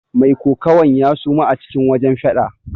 Mai kokawan ya suma a cikin wajen fada.